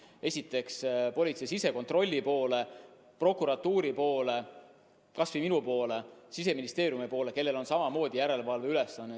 Esiteks, võib pöörduda politsei sisekontrolli poole, võib pöörduda prokuratuuri poole, kas või minu poole, Siseministeeriumi poole, kellel on samamoodi järelevalveülesanne.